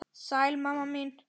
Sæl mamma mín.